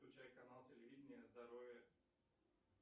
включай канал телевидения здоровье